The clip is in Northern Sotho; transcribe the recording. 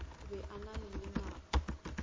be a na le lenao